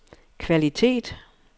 kvalitet